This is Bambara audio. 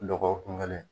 Dɔgɔkun kelen